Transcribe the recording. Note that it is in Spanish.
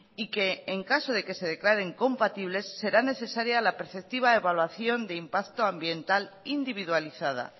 y que en caso de que se declaren compatibles será necesaria la preceptiva evaluación de impacto ambiental individualizada